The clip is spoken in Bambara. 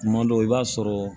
Kuma dɔw i b'a sɔrɔ